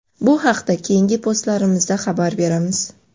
bu haqida keyingi postlarimizda xabar beramiz.